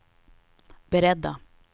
beredda